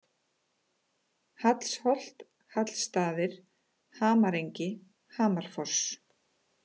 Hallsholt, Hallstaðir, Hamarengi, Hamarfoss